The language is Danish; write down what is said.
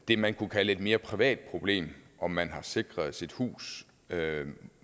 det man kunne kalde et mere privat problem om man har sikret sit hus